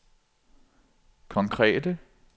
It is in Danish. konkrete